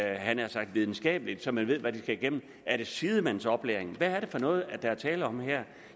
jeg havde nær sagt videnskabeligt så man ved hvad kursisterne skal igennem er det sidemandsoplæring hvad er det for noget der er tale om her